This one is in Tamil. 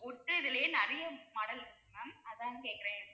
wood இதுலியே நிறைய model இருக்கு ma'am அதான் கேக்குறேன்